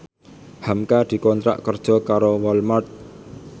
hamka dikontrak kerja karo Walmart